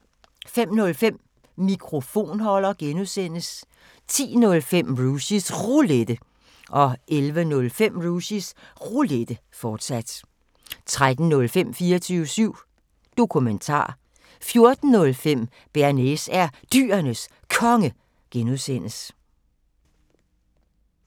05:05: Mikrofonholder (G) 10:05: Rushys Roulette 11:05: Rushys Roulette, fortsat 13:05: 24syv Dokumentar 14:05: Bearnaise er Dyrenes Konge (G)